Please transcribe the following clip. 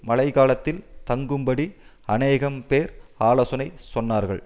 மழைகாலத்தில் தங்கும்படி அநேகம்பேர் ஆலோசனை சொன்னார்கள்